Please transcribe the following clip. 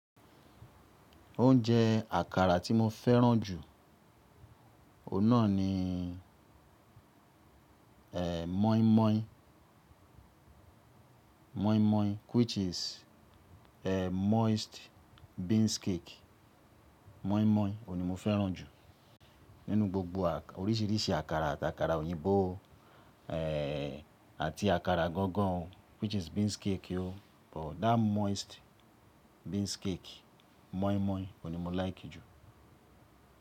Oúnjẹ àkàrà tí mo fẹ́ràn jù, ọ̀nà ni e moi moi, which is e moist beans cake. Moi moi òun ni mo fẹ́ràn jù. Nínú gbogbo àkà orísìírísìí àkàrà àti àkàrà òyìnbó o, e àti àkàrà gangan o which is beans cake o but that moist beans cake moin moin òun ni mo like jù.